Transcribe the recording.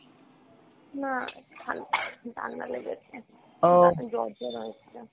না হালকা ঠান্ডা লেগেছে জ্বর জ্বর হয়েছিল।